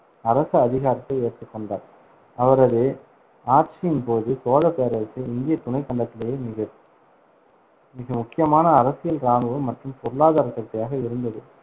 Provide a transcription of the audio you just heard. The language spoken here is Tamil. அரச அதிகாரத்தை ஏற்றுக்கொண்டார். அவரது ஆட்சியின் போது, சோழப் பேரரசு இந்திய துணைக் கண்டத்திலேயே மிக மிக முக்கியமான அரசியல், இராணுவ மற்றும் பொருளாதார சக்தியாக இருந்தது.